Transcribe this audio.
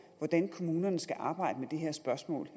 hvordan kommunerne skal arbejde med det her spørgsmål